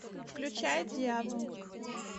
включай дьявол